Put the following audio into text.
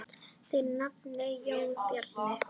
Þinn nafni, Jón Bjarni.